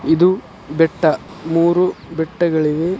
ಇದು ಬೆಟ್ಟ. ಮೂರು ಬೆಟ್ಟಗಳಿವೆ.